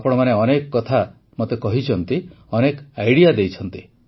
ଆପଣମାନେ ଅନେକ କଥା ମୋତେ କହିଛନ୍ତି ଅନେକ ଆଇଡିଆ ଦେଇଛନ୍ତି